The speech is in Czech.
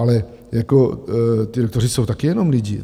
Ale ti doktoři jsou taky jenom lidi.